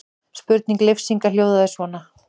Spurning Leifs Inga hljóðaði svona: